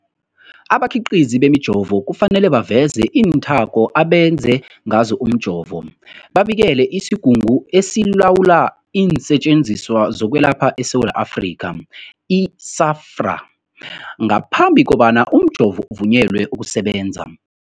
Abakhiqizi bemijovo kufanele baveze iinthako abenze ngazo umjovo, babikele isiGungu esiLawula iinSetjenziswa zokweLapha eSewula Afrika, i-SAHPRA, ngaphambi kobana umjovo uvunyelwe ukusebenza.